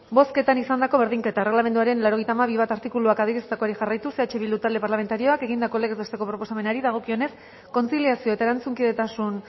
bozketan izandako berdinketak erregelamenduaren laurogeita hamabi puntu bat artikuluak adierazitakoari jarraituz eh bildu talde parlamentarioak egindako legez besteko proposamenari dagokionez kontziliazio eta erantzunkidetasun